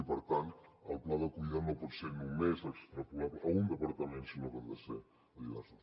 i per tant el pla d’acollida no pot ser només extrapolable a un departament sinó que han de ser diversos